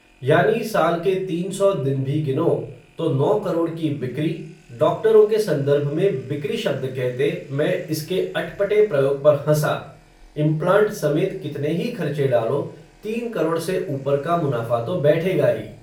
यानी साल के तीन सौ दिन भी गिनो, तो नौ करोड़ की बिक्री, डॉक्टरों के संदर्भ में, बिक्री शब्द कहते, मैं इसके अट पटे प्रयोग पर हँसा, इम्प्लांट समेत, कितने ही खर्चे डालो, तीन करोड़ से ऊपर का मुनाफ़ा तो बैठेगा ही